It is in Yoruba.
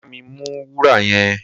Bá mi mú wúrà yẹn!